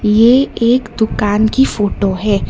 ये एक दुकान कि फोटो है।